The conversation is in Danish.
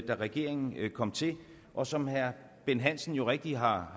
regeringen kom til og som herre bent hansen jo rigtigt har